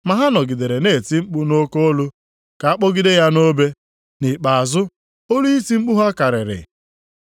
Ma ha nọgidere na-eti mkpu nʼoke olu ka a kpọgide ya nʼobe, nʼikpeazụ olu iti mkpu ha karịrị.